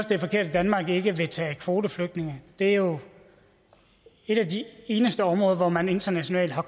det er forkert at danmark ikke vil tage kvoteflygtninge det er jo et af de eneste områder hvor man internationalt har